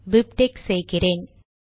BibTeX செய்கிறேன்